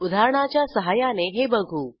उदाहरणाच्या सहाय्याने हे बघू